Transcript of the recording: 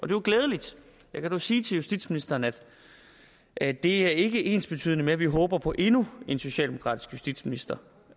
jo glædeligt jeg kan dog sige til justitsministeren at at det ikke er ensbetydende med at vi håber på endnu en socialdemokratisk justitsminister